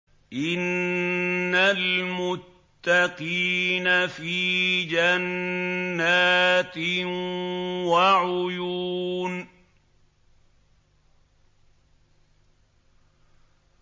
إِنَّ الْمُتَّقِينَ فِي جَنَّاتٍ وَعُيُونٍ